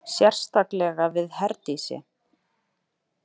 Sérstaklega við Herdísi.